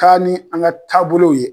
Taa ni an ka taabolow ye.